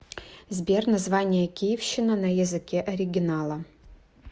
сбер название киевщина на языке оригинала